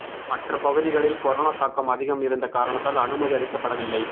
மற்ற பகுதிகளில் கொரோனா தாக்கம் அதிகம் இருந்த காரணத்தால் அனுமதி அளிக்கப்படவில்லை